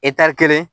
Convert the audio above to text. kelen